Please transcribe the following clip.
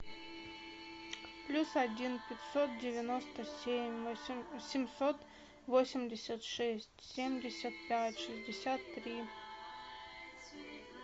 плюс один пятьсот девяносто семь семьсот восемьдесят шесть семьдесят пять шестьдесят три